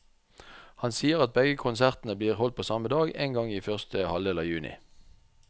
Han sier at begge konsertene blir holdt på samme dag, en gang i første halvdel av juni.